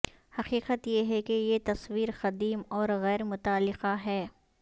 حقیقت یہ ہے کہ یہ تصویر قدیم اور غیرمتعلقہ ہے